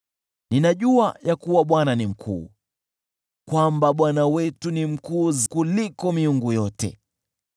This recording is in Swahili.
Ninajua ya kuwa Bwana ni mkuu, kwamba Bwana wetu ni mkuu kuliko miungu yote.